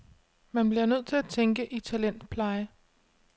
Man bliver nødt til at tænke i talentpleje.